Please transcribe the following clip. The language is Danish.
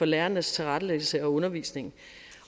lærernes tilrettelæggelse af undervisningen